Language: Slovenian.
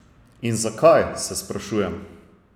In zakaj, se sprašujem.